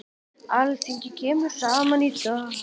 Alþingi kemur saman í dag.